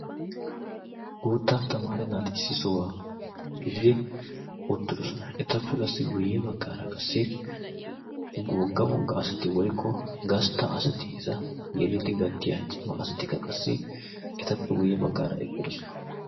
guutta tamaara naati issi sohuwaa gididi uttidosona etappe qassi guyye baggaara qassi googga wogga asati woikko gastta asati eta yelidi gattiya cima asatikka qassi etappe guyye baggaara eqqidosona